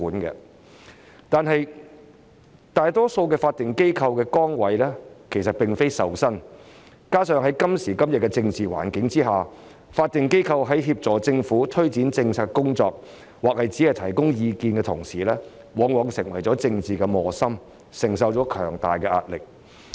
可是，大多數法定機構的崗位其實並非受薪，再加上在今時今日的政治環境下，法定機構在協助政府推展政策或提供意見時，往往成為政治磨心，承受強大壓力。